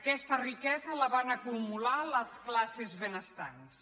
aquesta riquesa la van acumular les classes benestants